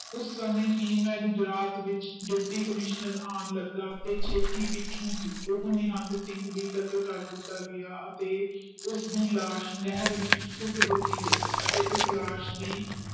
ਉਸ ਸਮੇ ਹੀ ਮੈਂ ਗੁਜਰਾਤ ਵਿਚ ਡਿਪਟੀ ਕਮਿਸ਼ਨਰ ਆਂ ਲਗਾ ਤੇ ਛੇਤੀ ਪਿੱਛੋਂ ਹੀ ਉਹ ਨਿਹੰਗ ਸਿੰਘ ਦੇ ਵੀ ਕਤਲ ਕਰ ਦਿਤਾ ਗਯਾ ਅਤੇ ਉਸ ਦੀ ਲਾਸ਼ ਨਹਿਰ ਵਿਚ ਸੁੱਟ ਦਿਤੀ ਗਯੀ ਅਤੇ ਉਸ ਲਾਸ਼ ਦੀ